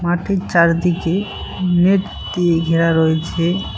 মাঠের চারিদিকে নেট দিয়ে ঘেরা রয়েছে।